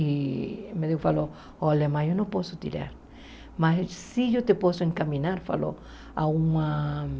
E o médico falou, olha mãe, eu não posso tirar, mas sim eu te posso encaminhar, falou. Ah uma